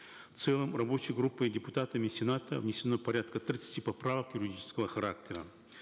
в целом рабочей группой и депутатами сената внесено порядка тридцати поправок юридического характера